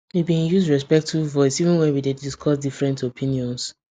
we been use respectful voice even when we dey discuss different opinions